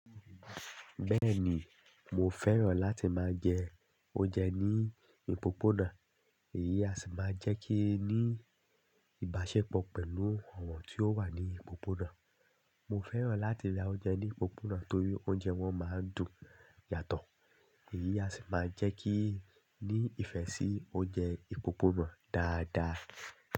Bẹ́ẹ̀ni, mo fẹ́ràn láti máa jẹ oúnjẹ ní ìpópónà. Èyí á sì máa jẹ́ kí n ní ìbáṣepọ̀ pẹ̀lú àwọn tí ó wà ní ìpópónà. Mo fẹ́ràn láti ra oúnjẹ ní ìpópónà torí oúnjẹ wọn máa ń dùn yàtọ̀. Èyí á sì máa jẹ́ kí n ní ìfẹ́ sí oúnjẹ ìpópónà dáadáa.